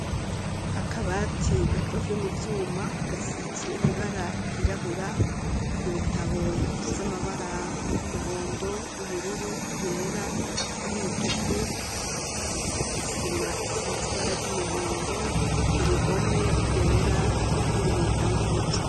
Akabati gakozwe mu vyuma gasizwe ibara ryirabura ibitabo bifise amabara y'umuhondo y'ubururu yera y'umutuku, isima isize ibara ry'umuhondo, uruhome rwera n'ibintu bitanga umuco.